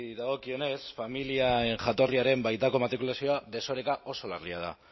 dagokionez familien jatorriaren baitako matrikulazioa desoreka oso larria da